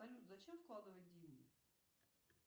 салют зачем вкладывать деньги